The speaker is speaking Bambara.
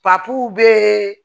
bɛ